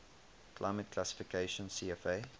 climate classification cfa